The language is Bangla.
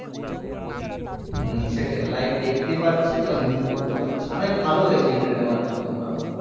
হম সেটাই live দেখতে পাচ্ছি plus input করতে পারছি মানে ভালো বেশি internet এর মাধ্যমে আমরা